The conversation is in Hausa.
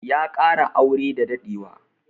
Ya kara aure da daɗewa.